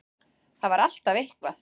Það var alltaf eitthvað.